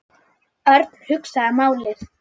Örn hugsaði málið.